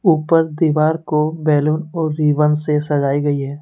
ऊपर दीवाल को बैलून और रिबन से सजाई गई है।